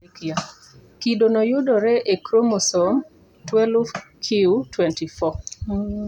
Kido no yudore e kromosom 12q24